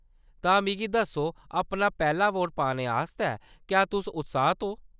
तां मिगी दस्सो, अपना पैह्‌‌ला वोट पाने आस्तै क्या तुस उत्साह्त ओ ?